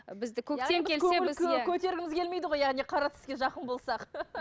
бізді көктем келсе біз иә көтергіміз келмейді ғой яғни қара түске жақын болсақ